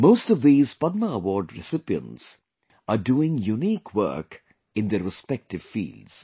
Most of these Padma Award recipients are doing unique work in their respective fields